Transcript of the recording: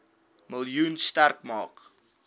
miljoen sterk maak